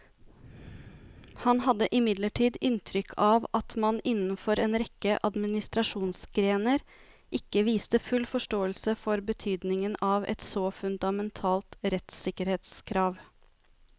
Han hadde imidlertid inntrykk av at man innenfor en rekke administrasjonsgrener ikke viste full forståelse for betydningen av et så fundamentalt rettssikkerhetskrav.